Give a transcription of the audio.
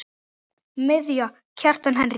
Miðja: Kjartan Henry